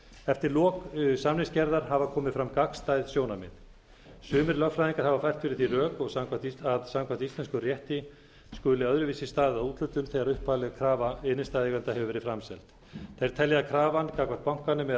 eftir lok samningsgerðar hafa komið fram gagnstæð sjónarmið sumir lögfræðingar hafa fært fyrir því rök að samkvæmt íslenskum rétti skuli öðruvísi staðið að úthlutun þegar upphafleg krafa innstæðueiganda hefur verið framseld þeir telja að krafan gagnvart bankanum eða